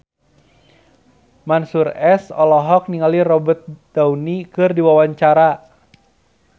Mansyur S olohok ningali Robert Downey keur diwawancara